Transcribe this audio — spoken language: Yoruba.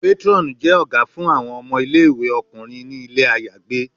Patron jẹ fun awọn ọmọ ile-iwe ọkunrin ni ile ayagbe